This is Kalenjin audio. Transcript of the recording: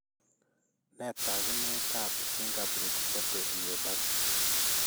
Nee taakunetaab Fingerprint body myopathy?